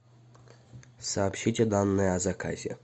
сообщите данные о заказе